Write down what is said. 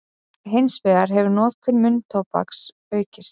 Hins vegar hefur notkun munntóbaks aukist.